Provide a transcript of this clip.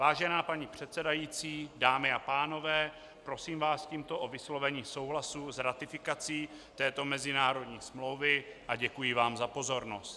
Vážená paní předsedající, dámy a pánové, prosím vás tímto o vyslovení souhlasu s ratifikací této mezinárodní smlouvy a děkuji vám za pozornost.